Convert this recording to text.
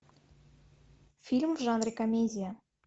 фильм в жанре комедия